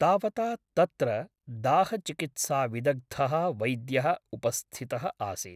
तावता तत्र दाहचिकित्साविदग्धः वैद्यः उपस्थितः आसीत् ।